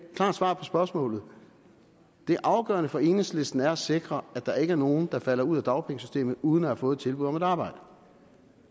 klart svar på spørgsmålet det afgørende for enhedslisten er at sikre at der ikke er nogen der falder ud af dagpengesystemet uden at have fået et tilbud om et arbejde